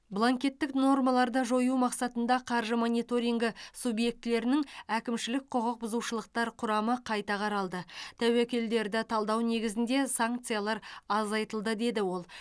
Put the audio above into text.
бланкеттік нормаларды жою мақсатында қаржы мониторингі субъектілерінің әкімшілік құқық бұзушылықтар құрамы қайта қаралды тәуекелдерді талдау негізінде санкциялар азайтылды деді ол